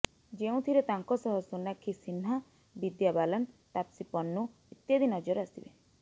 ଯେଉଁଥିରେ ତାଙ୍କ ସହ ସୋନାକ୍ଷୀ ସିହ୍ନା ବିଦ୍ୟା ବାଲାନ୍ ତାପ୍ସୀ ପନ୍ନୁ ଇତ୍ୟାଦି ନଜର ଆସିବେ